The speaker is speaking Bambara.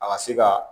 A ka se ka